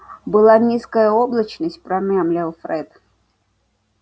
была низкая облачность промямлил фред